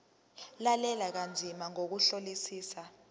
lalela kanzima ngokuhlolisisa